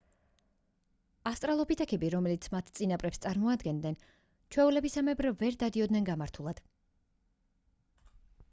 ავსტრალოპითეკები რომლებიც მათ წინაპრებს წარმოადგენდნენ ჩვეულებისამებრ ვერ დადიოდნენ გამართულად